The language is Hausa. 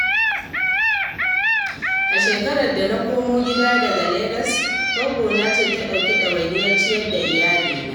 A shekarar da na komo gida daga Legas, goggona ce ta ɗauki ɗawainiyar ciyar da iyalina.